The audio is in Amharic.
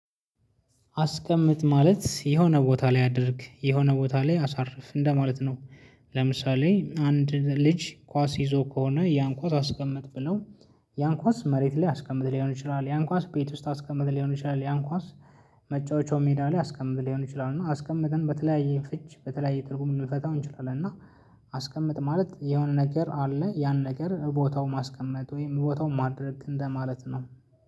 አስቀምጥ ማለት የሆነ ቦታ ላይ አድርግ የሆነ ቦታ ላይ አሳርፍ እንደ ማለት ነው። ለምሳሌ አንድ ልጅ ኳስ ይዞ ከሆነ ያን ኳስ አስቀመጥ ብለው። ያን ኳስ መሬት ላይ አስቀምጥ ሊሆን ይችላል ያን ኳስ ቤት ውስጥ አስቀምጥ ሊሆን ይችላል ያን ኳስ። መጫወቻው ሜዳ ላይ አስቀምጥ ሊሆን ይችላል እና አስቀምጠን በተለያየ ፍች በተለያየ ትርጉም ልንፈታው እንችላለን እና። አስቀምጥ ማለት የሆነ ነገር አለ። ያን ነገር ቦታው ማስቀመጥ ወይም ቦታው ማድረግ እንደ ማለት ነው